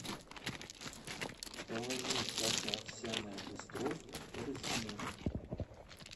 положи каша овсяная быстров в корзину